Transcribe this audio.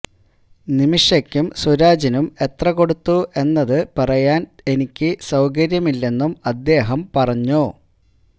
നിമിഷയ്ക്കും സുരാജിനും എത്രകൊടുത്തു എന്നത് പറയാൻ എനിക്ക് സൌകര്യമില്ലെന്നും അദ്ദേഹം പറഞ്ഞു